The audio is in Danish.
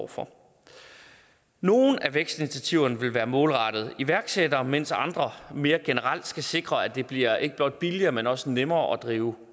for nogle af vækstinitiativerne vil være målrettet iværksættere mens andre mere generelt skal sikre at det bliver ikke blot billigere men også nemmere at drive